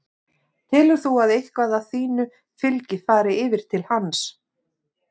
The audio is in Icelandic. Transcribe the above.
Telur þú að eitthvað af þínu fylgi fari yfir til hans?